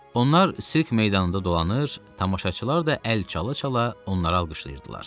Onlar sirk meydanında dolanır, tamaşaçılar da əl çala-çala onlara alqışlayırdılar.